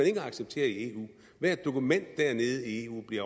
ikke acceptere i eu hvert dokument dernede i eu bliver